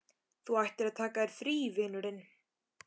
Þú ættir að taka þér frí, vinurinn.